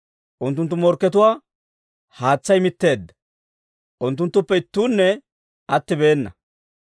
Unttunttu morkkatuwaa haatsay mitteedda; unttunttuppe ittuunne attibeena.